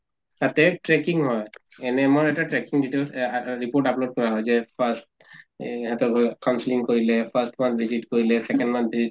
তাতে tracking হয়, NM ৰ এটা tracking details report upload কৰা হয় যে first এহ counseling কৰিলে first মাহ visit কৰিলে, second মাহ visit